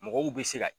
Mɔgɔw bɛ se ka